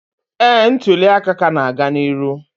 ee, ntuli aka ka na-aga n'ihu